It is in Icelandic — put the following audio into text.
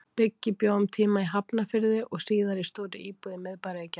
Biggi bjó um tíma í Hafnarfirði og síðar í stórri íbúð í miðbæ Reykjavíkur.